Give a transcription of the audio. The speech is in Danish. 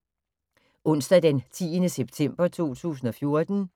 Onsdag d. 10. september 2014